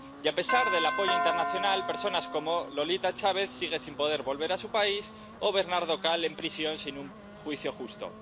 Y, a pesar del apoyo internacional, personas como Lolita Chávez sigue sin poder volver a su país y Bernardo Caal sigue en prisión sin un juicio justo.